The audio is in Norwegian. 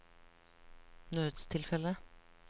nødstilfelle